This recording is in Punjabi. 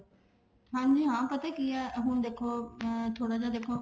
ਹਾਂਜੀ ਹਾਂ ਪਤਾ ਕੀ ਹੈ ਹੁਣ ਦੇਖੋ ਅਮ ਥੋੜਾ ਜਾ ਦੇਖੋ